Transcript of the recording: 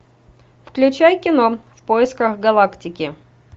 включай кино в поисках галактики